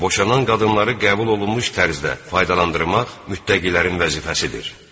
Boşanan qadınları qəbul olunmuş tərzdə faydalandırmaq müttəqilərin vəzifəsidir.